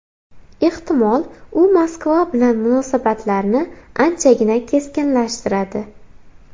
Ehtimol, u Moskva bilan munosabatlarni anchagina keskinlashtiradi.